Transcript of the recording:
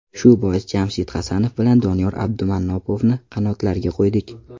Shu bois Jamshid Hasanov bilan Doniyor Abdumannopovni qanotlarga qo‘ydik.